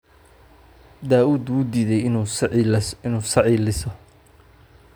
Daa'uud wuu diiday inuu sacii liso